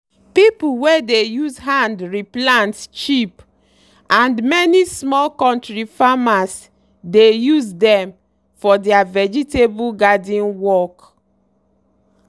pipu wey dey use hand re plant cheap and many small kontri farmers dey use dem for deirr vegetable garden work.